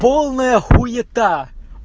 полная хуета